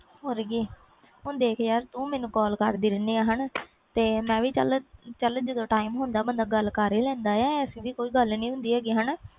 ਹੋਰ ਕਿ ਯਾਰ ਹੁਣ ਦੇਖ ਤੈਨੂੰ ਮੈਨੂੰ call ਕਰਦੀ ਰਹਿਣੀ ਆ ਤੇ ਮੈਂ ਚਲ ਜਦੋ time ਹੁੰਦਾ ਬੰਦਾ ਗੱਲ ਕਰ ਹੀ ਲੈਂਦਾ ਆ ਇਹੋ ਜਾਹਿ ਕੋਈ ਗੱਲ ਨਹੀਂ ਹੁੰਦੀ